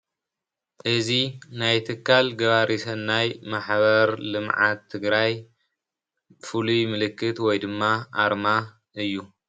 እዚይ ናይ ትካል ገባሪ ሰናይ ማሕበር ልምዓት ትግራይ ፍሉይ ምልክት ወይ ድማ ኣርማ እዩ፡፡